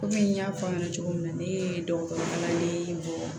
Kɔmi n y'a fɔ aw ɲɛna cogo min na ne ye dɔgɔtɔrɔ kalanden bɔ